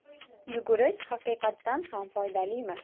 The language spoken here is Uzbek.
Yugurish haqiqatan ham foydalimi?.